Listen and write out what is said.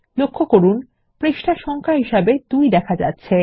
lলক্ষ্য করুন পৃষ্ঠা সংখ্যা হিসাবে ২ দেখা যাচ্ছে